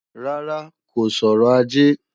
Rárá, kò sọrọ̀ ajé